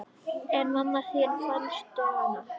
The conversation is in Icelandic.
En mamma þín, fannstu hana?